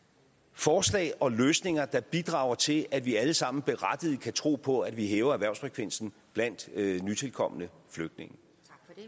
forslag og løsninger der bidrager til at vi alle sammen berettiget kan tro på at vi hæver erhvervsfrekvensen blandt nytilkomne flygtninge